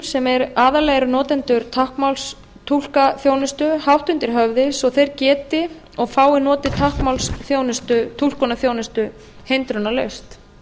sem aðallega eru notendur táknmálstúlkaþjónustu hátt undir höfði svo að þeir geti og fái notið táknmálstúlkaþjónustu hindrunarlaust